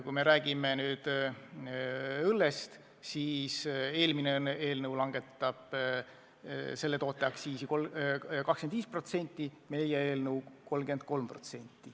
Kui me räägime õllest, siis eelmine eelnõu tahab selle toote aktsiisi langetada 25%, meie eelnõu 33%.